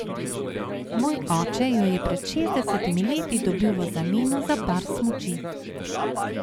Moj oče jo je pred šestdesetimi leti dobil v zameno za par smuči.